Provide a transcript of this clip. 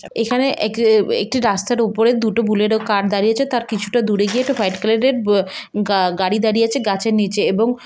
এখানে এক-একটি রাস্তার উপরে দুটো বুলেট কার দাড়িয়েছে. তার কিছুটা দূরে গিয়ে হোয়াইট কালার এর আ- গাড়ি দাঁড়িয়ে আছে গাছের নিচে এবং--